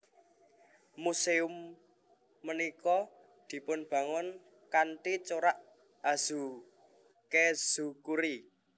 Muséum punika dipunbangun kanthi corak Azukezukuri